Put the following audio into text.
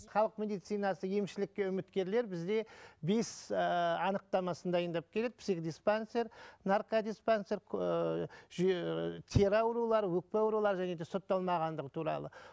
халық медицинасы емшілікке үміткерлер бізде бес ыыы анықтамасын дайындап келеді психдиспансер наркодиспансер ыыы ыыы тері аурулары өкпе аурулары және де сотталмағандығы туралы